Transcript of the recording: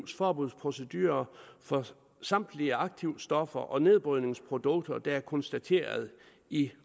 forbudsprocedurer for samtlige aktivstoffer og nedbrydningsprodukter der er konstateret i